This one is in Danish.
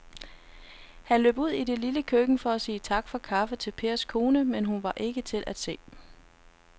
Han løb ud i det lille køkken for at sige tak for kaffe til Pers kone, men hun var ikke til at se.